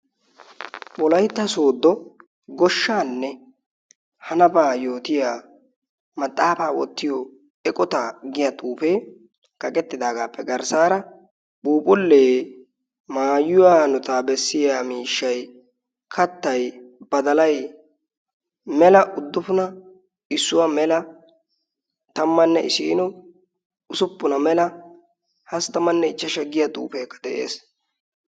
wolaytta sooddo goshshaanne hanabaa yootiya maxaafaa wottiyo eqota giya xuufee kaqettidaagaappe garssaara puuphulee maayuwaaanotaa bessiya miishshai kattay badalay mela uddufuna issuwaa mela tammanne isiino usuppuna mela hasi tammanne ichchashsha giya xuufeekka de'ees.